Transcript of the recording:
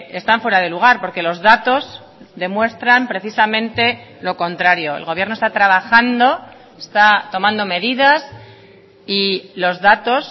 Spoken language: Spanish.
están fuera de lugar porque los datos demuestran precisamente lo contrario el gobierno está trabajando está tomando medidas y los datos